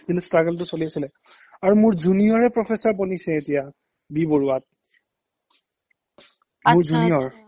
কিন্তু struggle টো চলি আছিলে আৰু মোৰ junior য়ে professor বনিছে এতিয়া বি বৰুৱাত মোৰ junior